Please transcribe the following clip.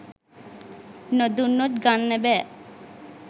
නොදුන්නොත් ගන්න බෑ